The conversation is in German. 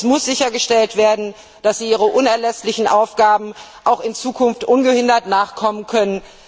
Es muss sichergestellt werden, dass sie ihren unerlässlichen Aufgaben auch in Zukunft ungehindert nachkommen können.